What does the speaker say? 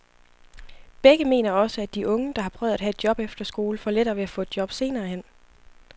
Begge mener også, at de unge, der har prøvet at have et job efter skole, får lettere ved at få et job senere hen.